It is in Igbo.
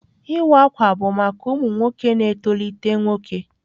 Iwa akwa bụ maka ụmụ nwoke na-etolite nwoke.